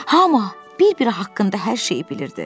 Hamı bir-biri haqqında hər şeyi bilirdi.